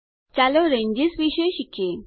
ચાલો રેન્જેસ વિશે શીખીએ